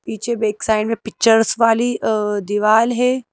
पीछे back side में pictures वाली अ दीवार है।